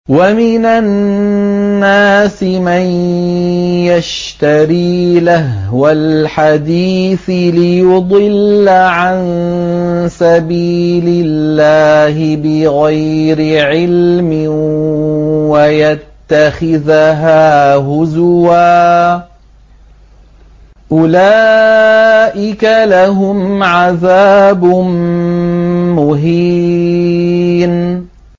وَمِنَ النَّاسِ مَن يَشْتَرِي لَهْوَ الْحَدِيثِ لِيُضِلَّ عَن سَبِيلِ اللَّهِ بِغَيْرِ عِلْمٍ وَيَتَّخِذَهَا هُزُوًا ۚ أُولَٰئِكَ لَهُمْ عَذَابٌ مُّهِينٌ